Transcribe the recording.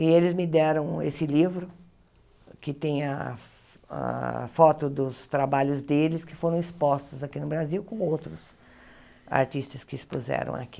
E eles me deram esse livro, que tem a a foto dos trabalhos deles, que foram expostos aqui no Brasil com outros artistas que expuseram aqui.